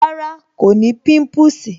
Rárá, kò ní pimpusi